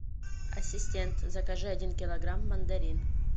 ассистент закажи один килограмм мандарин